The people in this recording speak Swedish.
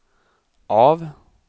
av